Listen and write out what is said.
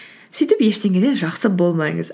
сөйтіп ештеңеде жақсы болмаңыз